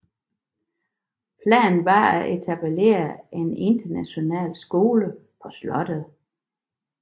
Planen var at etablere en international skole på slottet